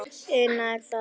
Una: Er það ekki?